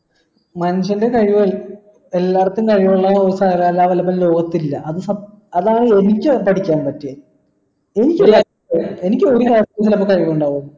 മനുഷ്യൻറെ കഴിവ് എല്ലായിടത്തും കഴിവുള്ള സകല കല വല്ലഭൻ ലോകത്തില്ല അതാണ് എനിക്ക് പഠിക്കാൻ പറ്റിയത് എനിക്ക് എനിക്ക് ഒരു കാര്യത്തിനൊക്കെ കഴിവ് ഉണ്ടാവുള്ളൂ